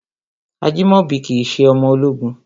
Ajimobi kìí ṣe ọmọ ológun.